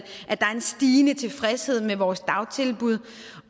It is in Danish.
at der er en stigende tilfredshed med vores dagtilbud